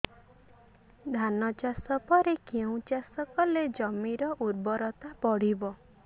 ଧାନ ଚାଷ ପରେ କେଉଁ ଚାଷ କଲେ ଜମିର ଉର୍ବରତା ବଢିବ